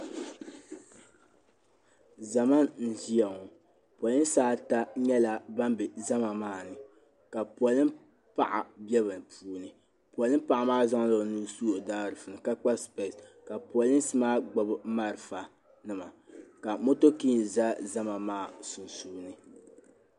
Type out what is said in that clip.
Zama n ʒiya ŋɔ. polinsi ata nyɛla ban be zama maani. ka polim paɣa be bɛni. ka zaŋ ɔnuhi n su ɔ daaʒiifuni, ka kpa spese, ka polensi gbubi malifa nima ka mɔking ʒa zama maa sun suuni.